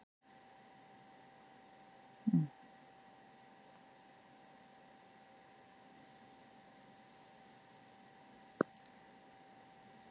Körlum sem lifðu ekki í samræmi við dygð biðu þau örlög að endurfæðast sem konur.